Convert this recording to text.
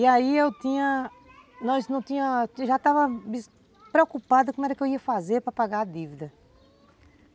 E aí eu tinha, nós não tínhamos, eu já estava preocupada como eu ia fazer para pagar a dívida.